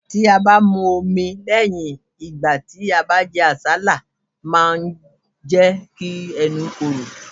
Tí a bá mu omi lẹ́yìn ìgbà tí jẹ àsálà máa jẹ́ kí ẹnu korò.